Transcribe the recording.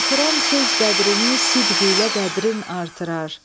Artıran söz qədrini sidq ilə qədrin artırar.